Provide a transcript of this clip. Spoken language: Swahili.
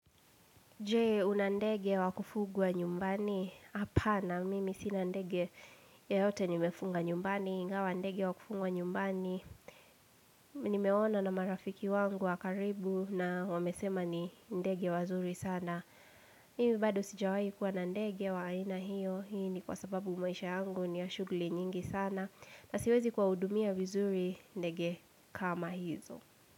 Je, una ndege wakufugwa nyumbani? Hapana, mimi sina ndege yeyote nimefunga nyumbani, ingawa ndege wakufungwa nyumbani. Nimeona na marafiki wangu wakaribu na wamesema ni ndege wazuri sana. Mimi bado sijawahi kuwa na ndege wa aina hiyo, hii ni kwa sababu maisha yangu ni ya shughuli nyingi sana. Nasiwezi kuwahudumia vizuri ndege kama hizo.